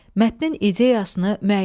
Mətnin ideyasını müəyyən et.